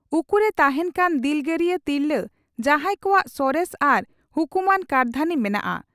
ᱩᱠᱩᱨᱮ ᱛᱟᱦᱮᱸᱱ ᱠᱟᱱ ᱫᱤᱞᱜᱟᱹᱨᱤᱭᱟᱹ ᱛᱤᱨᱞᱟᱹ ᱡᱟᱦᱟᱸᱭ ᱠᱚᱣᱟᱜ ᱥᱚᱨᱮᱥ ᱟᱨ ᱦᱩᱠᱩᱢᱟᱱ ᱠᱟᱹᱨᱫᱷᱟᱹᱱᱤ ᱢᱮᱱᱟᱜᱼᱟ